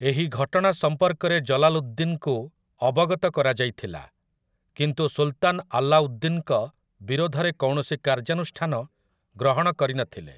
ଏହି ଘଟଣା ସମ୍ପର୍କରେ ଜଲାଲୁଦ୍ଦିନ୍‌ଙ୍କୁ ଅବଗତ କରାଯାଇଥିଲା, କିନ୍ତୁ ସୁଲ୍‌ତାନ୍ ଆଲାଉଦ୍ଦିନ୍‌ଙ୍କ ବିରୋଧରେ କୌଣସି କାର୍ଯ୍ୟାନୁଷ୍ଠାନ ଗ୍ରହଣ କରିନଥିଲେ ।